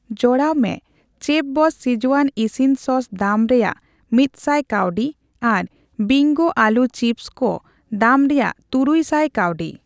ᱡᱚᱲᱟᱣ ᱢᱮ ᱪᱮᱯᱷᱵᱚᱥᱥ ᱥᱠᱤᱡᱣᱟᱱ ᱤᱥᱤᱱ ᱥᱚᱥ ᱫᱟᱢ ᱨᱮᱭᱟᱜ ᱢᱤᱛᱥᱟᱭ ᱠᱟᱹᱣᱰᱤ ᱟᱨ ᱵᱤᱝᱜᱳ ᱟᱹᱞᱩ ᱪᱤᱯᱥ ᱠᱩ ᱫᱟᱢ ᱨᱮᱭᱟᱜ ᱛᱩᱨᱩᱭ ᱥᱟᱭ ᱠᱟᱹᱣᱰᱤ ᱾